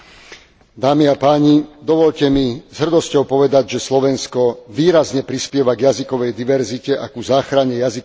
Dovoľte mi s hrdosťou povedať, že Slovensko výrazne prispieva k jazykovej diverzite a ku záchrane jazykového kultúrneho dedičstva.